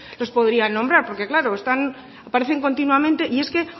los podrían nombrar porque claro aparecen continuamente y es que